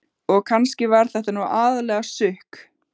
Og kannski var þetta nú aðallega sukk.